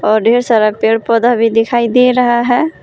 और ढेर सारा पेड़ पौधा भी दिखाई दे रहा हैं।